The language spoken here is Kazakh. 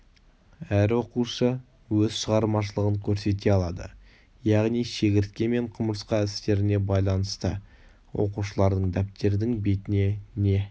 әр оқушы өз шығармашылығын көрсете алады яғни шегіртке мен құмырсқа істеріне байланысты оқушылардын дәптердің бетіне не